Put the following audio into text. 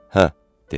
Hə, dedi.